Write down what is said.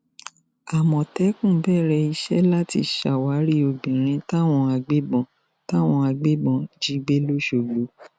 àmọ̀tẹ́kùn bẹ̀rẹ̀ iṣẹ́ láti ṣàwárí obìnrin táwọn agbébọn táwọn agbébọn jí gbé lóṣogbo